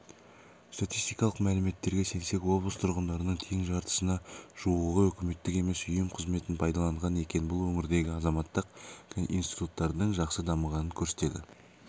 статистикалық мәліметтерге сенсек облыс тұрғындарының тең жартысына жуығы үкіметтік емес ұйым қызметін пайдаланған екен бұл өңірдегі азаматтық институттардың жақсы дамығанын көрсетеді